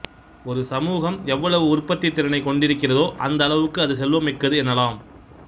ஒரு சமூகம் எவ்வளவு உற்பத்தித் திறனைக் கொண்டிருக்கிறதோ அந்தளவுக்கு அது செல்வம்மிக்கது எனலாம்